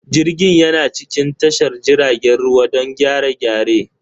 Jirgin yana cikin tashar jiragen ruwa don gyare-gyare.